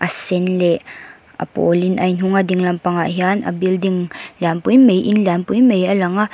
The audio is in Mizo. a sen leh a pawl in a in hung a dinglam pangah hian a building lian pui mai in lian pui mai a lang a.